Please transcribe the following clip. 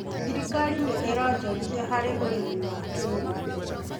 Thirikari nĩ ĩronjorithia harĩ ũrĩmi wa kĩrĩu.